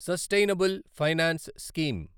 sustainable finance scheme